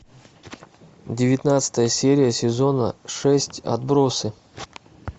девятнадцатая серия сезона шесть отбросы